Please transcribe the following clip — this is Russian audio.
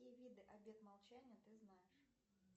какие виды обет молчания ты знаешь